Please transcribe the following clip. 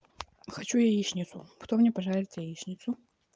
хочу яичницу кто мне пожарить яичницу